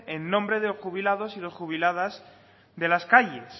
en nombre de los jubilados y las jubiladas de las calles